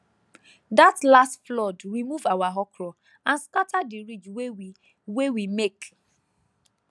that last flood remove our okra and scatter the ridge wey we wey we make